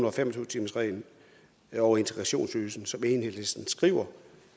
og fem og tyve timersreglen og integrationsydelsen som enhedslisten skriver